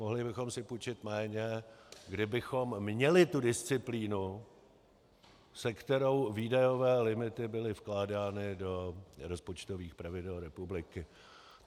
Mohli bychom si půjčit méně, kdybychom měli tu disciplínu, se kterou výdajové limity byly vkládány do rozpočtových pravidel republiky.